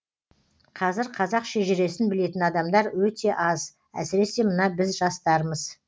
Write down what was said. қазір қазақ шежіресін білетін адамдар өте аз әсіресе мына біз жастармыз